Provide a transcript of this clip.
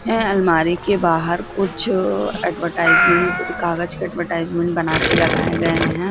यह अलमारी के बाहर कुछ अ एडवरटाइजमेंट कागज की एडवरटाइजमेंट बना के लगाए गए है।